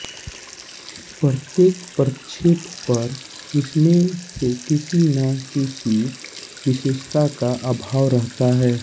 प्रत्येक प्रक्षेप पर इनमें से किसी न किसी विशेषता का अभाव रहता है